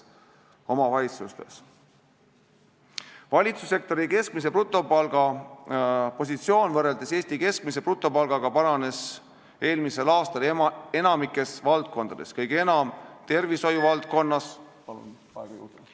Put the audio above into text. Valitsussektori keskmise brutopalga positsioon võrreldes Eesti keskmise brutopalgaga paranes eelmisel aastal enamikus valdkondades, kõige enam tervishoiu valdkonnas ja hariduse valdkonnas.